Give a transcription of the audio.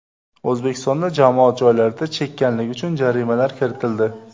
O‘zbekistonda jamoat joylarida chekkanlik uchun jarimalar kiritildi.